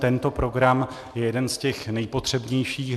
Tento program je jeden z těch nejpotřebnějších.